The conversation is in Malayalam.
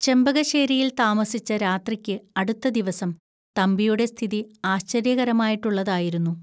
ചെമ്പകശ്ശേരിയിൽ താമസിച്ച രാത്രിക്ക് അടുത്തദിവസം തമ്പിയുടെ സ്ഥിതി ആശ്ചര്യകരമായിട്ടുള്ളതായിരുന്നു